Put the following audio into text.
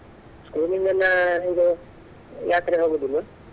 School ಯಿಂದ ಎಲ್ಲಾ ಹೇಗೆ ಯಾತ್ರೆಗೆ ಹೋಗುದಿಲ್ವೆ?